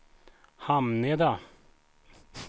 Hamneda